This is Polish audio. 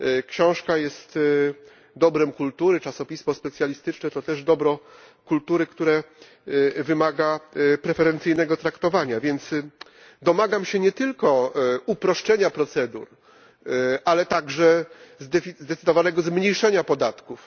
Książka jest dobrem kultury, czasopismo specjalistyczne to też dobro kultury, które wymaga preferencyjnego traktowania, więc domagam się nie tylko uproszczenia procedur, ale także zdecydowanego zmniejszenia podatków.